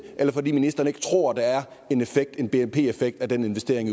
eller fordi ministeren ikke tror der er en bnp effekt af den investering